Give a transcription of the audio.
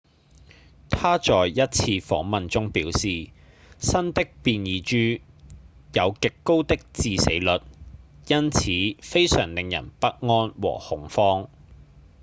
他在一次訪問中表示新的變異株「有極高的致死率因此非常令人不安和恐慌」